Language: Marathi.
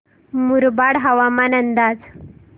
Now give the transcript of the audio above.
मुरबाड हवामान अंदाज